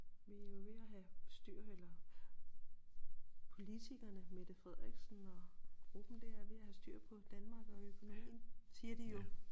Vi jo ved at have styr eller politikerne Mette Frederiksen og gruppen dér er ved at have styr på Danmark og økonomien siger de jo